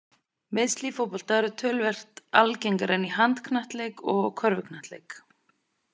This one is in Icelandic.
Meiðsli í fótbolta eru töluvert algengari en í handknattleik og í körfuknattleik.